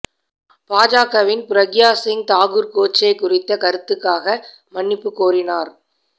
பாஜகவின் பிரக்யா சிங் தாக்கூர் கோட்சே குறித்த கருத்துக்காக மன்னிப்பு கோரினார்